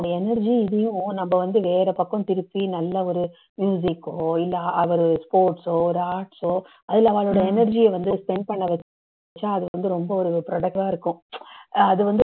அந்த energy யும் இதையும் நம்ம வந்து வேற பக்கம் திருப்பி நல்ல ஒரு music ஓ இல்ல அ ஒரு sports ஓ ஒரு arts ஓ அதுல அவாளோட energy அ வந்து spend பண்ண வச்சா அது வந்து ரொம்ப ஒரு productive ஆ இருக்கும் அது வந்து